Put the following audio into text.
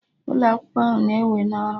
Ụlọ akwụkwọ ahụ na-ewe na ọrụ